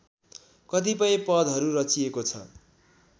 कतिपय पदहरू रचिएको छ